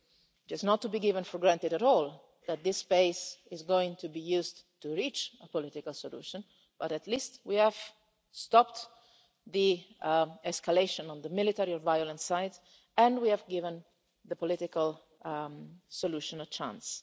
It is not to be taken for granted at all that this space is going to be used to reach a political solution, but at least we have stopped the escalation on the military violence side, and we have given the political solution a chance.